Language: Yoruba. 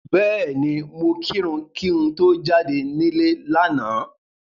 Bẹ́ẹ̀ni, mo kírun kí n tó jáde nílé lánàá.